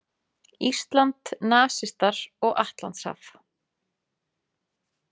"Ísland, nasistar og Atlantshaf. """